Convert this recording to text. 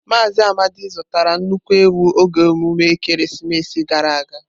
Mazị Amadi zụtara nnukwu ewu oge emume ekeresimesi gara aga.